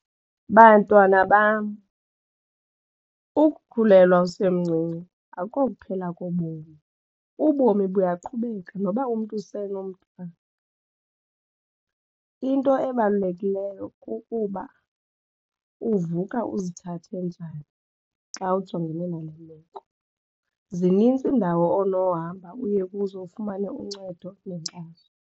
Bantwana bam, ukukhulelwa usemncinci ayikokuphela kobomi. Ubomi buyaqhubeka noba umntu usenomntwana. Into ebalulekileyo kukuba uvuka uzithathe njani xa ujongene nale meko zinintsi iindawo onohamba uye kuzo ufumane uncedo nenkxaso.